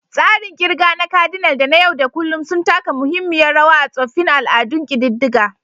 Tsarin ƙirga na kadinal da na yau da kullun sun taka muhimmiyar rawa a tsoffin al'adun ƙididdiga.